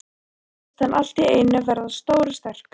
Lalla fannst hann allt í einu verða stór og sterkur.